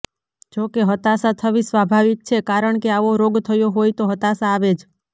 જોકે હતાશા થવી સ્વાભાવિક છે કારણકે આવો રોગ થયો હોય તો હતાશા આવે જ